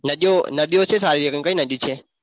નદીઓ નદીઓ છે સારી એક કઈ નદી છે?